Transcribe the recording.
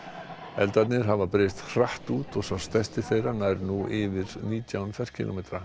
eldarnir hafa breiðst hratt út og sá stærsti þeirra nær nú yfir nítján ferkílómetra